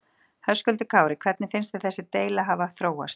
Höskuldur Kári: Hvernig finnst þér þessi deila hafa þróast?